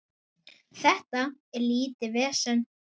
Þetta er lítið vesen.